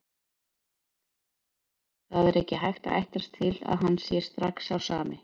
Það er ekki hægt að ætlast til að hann sé strax sá sami.